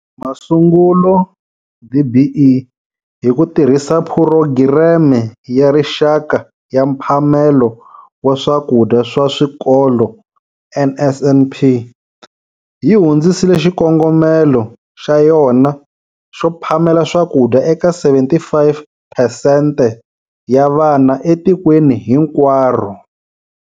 Masungulo, DBE, hi ku tirhisa Phurogireme ya Rixaka ya Mphamelo wa Swakudya swa Swikolo, NSNP, yi hundzisile xikongomelo xa yona xo phamela swakudya eka 75 phesente ya vana etikweni hinkwaro.